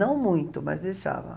Não muito, mas deixava.